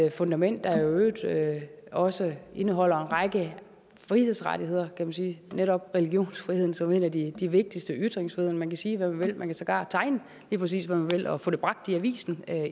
et fundament der i øvrigt også indeholder en række frihedsrettigheder kan man sige netop religionsfriheden som en af de vigtigste og ytringsfriheden man kan sige hvad man vil sågar tegne lige præcis hvad man vil og få det bragt i avisen